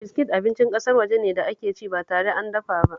Biskit abincin ƙasar waje ne da ake ci ba tare an dafa ba